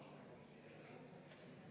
Vaheaeg kümme minutit.